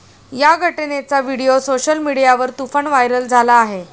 या घटनेचा video social मीडियावर तुफान व्हायरल झाला आहे.